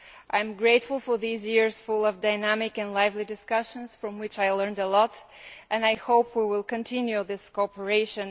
I am grateful for these years full of dynamic and lively discussions from which I have learned a lot, and I hope we will continue this cooperation.